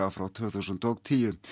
frá tvö þúsund og tíu